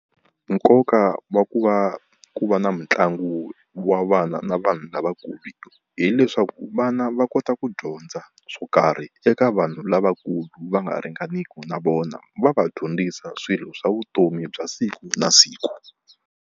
Nkoka wa ku va ku va na mitlangu wa vana na vanhu lavakulu, hileswaku vana va kota ku dyondza swo karhi eka vanhu lavakulu va nga ringaniki na vona va va dyondzisa swilo swa vutomi bya siku na siku.